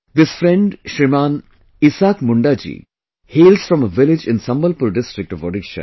This friend Shriman Isaak Munda ji hails from a village in Sambalpur district of Odisha